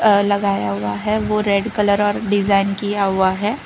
अ लगाया हुआ है ओ रेड कलर और डिजाइन किया हुआ है।